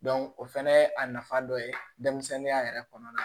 o fana ye a nafa dɔ ye denmisɛnninya yɛrɛ kɔnɔna na